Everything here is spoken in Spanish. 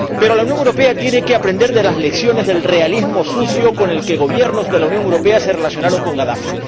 Pero la Unión Europea tiene que aprender de las lecciones del realismo sucio con el que Gobiernos de la Unión Europea se relacionaron con Gadafi.